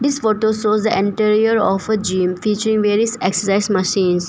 This photo shows anterior of a gym featuring various exercise machines.